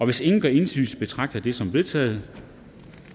hvis ingen gør indsigelse betragter jeg det som vedtaget